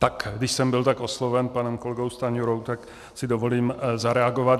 Tak, když jsem byl tak osloven panem kolegou Stanjurou, tak si dovolím zareagovat.